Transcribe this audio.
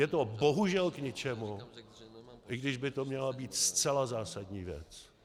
Je to bohužel k ničemu, i když by to měla být zcela zásadní věc.